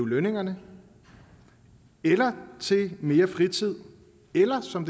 lønningerne eller til mere fritid eller som